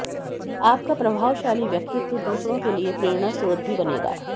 आपका प्रभावशाली व्यक्तित्व दूसरों के लिए प्रेरणा स्रोत भी बनेगा